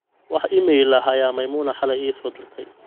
wax iimayl ah ayaa maimuna xaley isoo dirtay